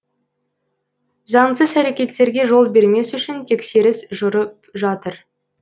заңсыз әрекеттерге жол бермес үшін тексеріс жүріп жатыр